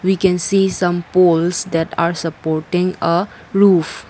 we can see some poles that are supporting a roof.